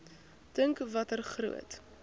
dink watter groot